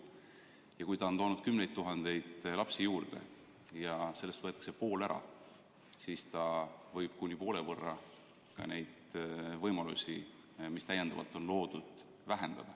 on toonud kümneid tuhandeid lapsi juurde ja kui sellest võetakse pool ära, siis võivad kuni poole võrra kahaneda ka need võimalused, mis juurde on loodud.